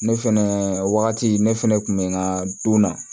Ne fɛnɛ wagati ne fɛnɛ kun bɛ n ka don na